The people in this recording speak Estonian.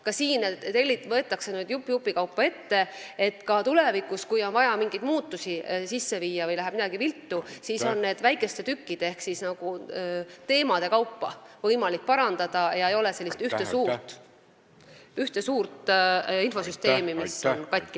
Ka siin võetakse nüüd jupp jupi kaupa ette, et tulevikus, kui on vaja teha mingeid muutusi või midagi läheb viltu, siis on seda võimalik parandada n-ö väikeste tükkide ehk teemade kaupa, ei ole ühte suurt infosüsteemi, mis on katki.